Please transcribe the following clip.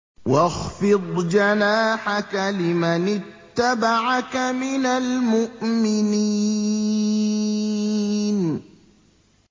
وَاخْفِضْ جَنَاحَكَ لِمَنِ اتَّبَعَكَ مِنَ الْمُؤْمِنِينَ